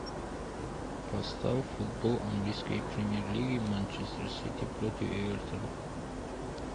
поставь футбол английской премьер лиги манчестер сити против эвертона